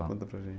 para gente.